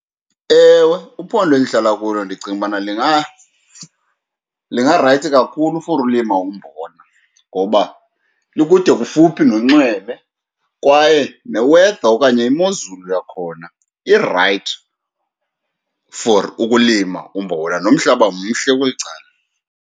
Ewe, uphondo endihlala kulo ndicinga ubana lingarayithi kakhulu for ulima umbona, ngoba likude kufuphi nonxweme kwaye ne-weather okanye imozulu yakhona irayithi for ukulima umbona, nomhlaba mhle kweli cala.